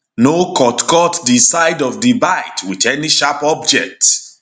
no cut cut di side of di bite wit any sharp object